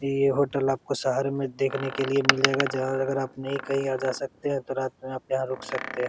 ये होटल आपको शहर में देखने के लिए मिलेगा आप नही कही आ जा सकते है तो रात में आप यहाँ रुक सकते है।